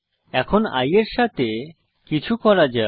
এখন i এর সাথে কিছু করা যাক